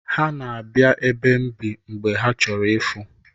Ha na-abịa ebe m bi mgbe ha chọrọ ịfụ.